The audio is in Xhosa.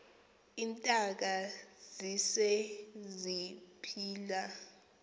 iintaka zise ziphila